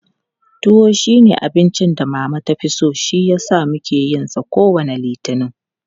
Tuwo shi ne abincin da Mama ta fi so shi yasa muke yin sa kowane Litini.